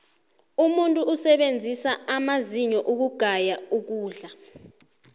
umuntu usebenzisa amazinyo ukugaya ukudla